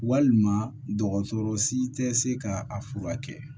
Walima dɔgɔtɔrɔ si tɛ se ka a furakɛ